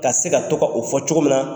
K'a se ka to ka o fɔ cogo min na